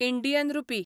Indian rupee